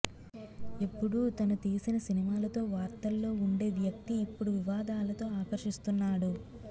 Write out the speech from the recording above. ఎప్పుడూ తను తీసిన సినిమాలతో వార్తల్లో వుండే వ్యక్తి ఇప్పుడు వివాదాలతో ఆకర్షిస్తున్నాడు